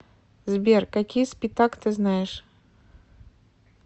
сбер какие спитак ты знаешь